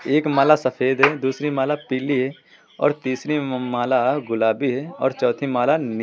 एक माला सफेद है दूसरी माला पीली है और तीसरी माला गुलाबी है और चौथी माला--